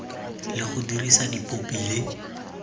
le go dirisa dipopi le